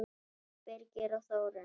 Jón Birgir og Þórunn.